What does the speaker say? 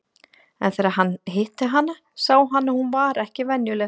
En þegar hann hitti hana sá hann að hún var ekki venjuleg.